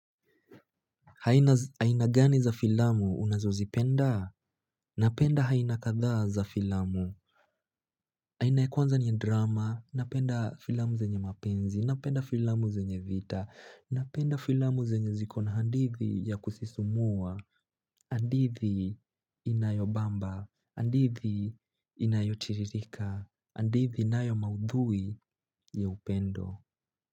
Aina gani za filamu? Unazo zipenda? Napenda aina kadha za filamu. Aina kwanza ni ya drama, napenda filamu zenye mapenzi, napenda filamu zenye vita, napenda filamu zenye zikona handithi ya kusisumua, hadithi inayo bamba, hadithi inayo chirika, hadithi inayo maudhui ya upendo.